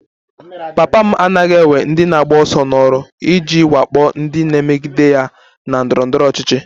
Papa m agaghị ewe ndị na-agba ọsọ n'ọrụ iji wakpo ndị na-emegide ya na ndọrọ ndọrọ ọchịchị